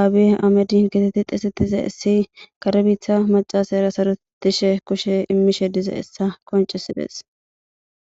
aabiye amedi getetti xisetize issi karebiitha macaasa era sarutishe kushe immishe dize essa qoncisides.